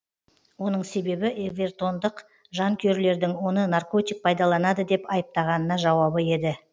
оның себебі эвертондық жанкүйерлердің оны наркотик пайдаланады деп айыптағанына жауабы еді